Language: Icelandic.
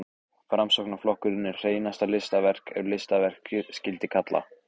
Framsóknarflokkurinn er hreinasta listaverk, ef listaverk skyldi kalla.